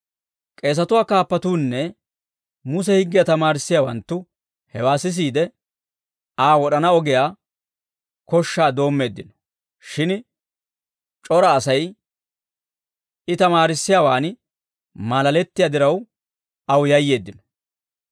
K'eesatuwaa kaappatuunne Muse higgiyaa tamaarissiyaawanttu hewaa sisiide, Aa wod'ana ogiyaa koshshaa doommeeddino; shin c'ora Asay I tamaarissiyaawaan maalalettiyaa diraw, aw yayyeeddino.